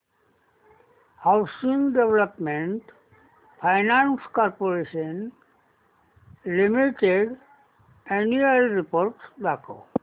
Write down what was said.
housing development finance corporation limited annual report दाखव